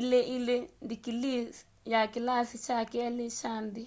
2:2 ndikilii ya kilasi kya keli kya nthi